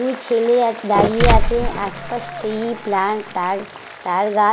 দুই ছেলে আজ দাঁড়িয়ে আছে আশপাশ ট্রি প্লান্ট তার তালগাছ।